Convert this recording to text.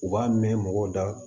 U b'a mɛn mɔgɔw da